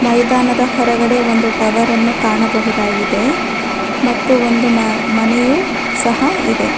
ಮೈದಾನದ ಹೊರಗಡೆ ಒಂದು ಟವರ ನ್ನು ಕಾಣಬಹುದಾಗಿದೆ ಮತ್ತು ಒಂದು ಮನೆಯೂ ಸಹ ಇದೆ.